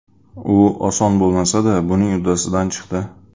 U oson bo‘lmasa-da, buning uddasidan chiqdi.